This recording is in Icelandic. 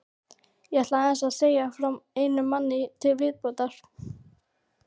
Ég ætla aðeins að segja frá einum manni til viðbótar.